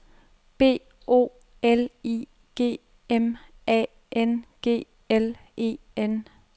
B O L I G M A N G L E N